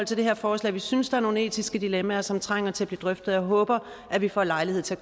til det her forslag vi synes der er nogle etiske dilemmaer som trænger til at blive drøftet og jeg håber at vi får lejlighed til